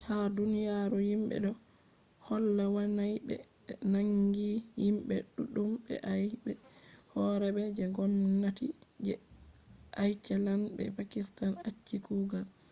ha duniyaru himɓe do holla wannai be be naangi himɓe ɗuɗɗum be aybe bo horeeɓe je ngomnati je iceland be pakistan acci kugal